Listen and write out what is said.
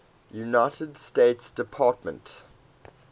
united states department